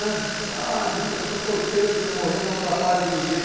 ãh... Eu falava, minha mãe, eu sou solteiro, se eu morrer não atrapalho ninguém.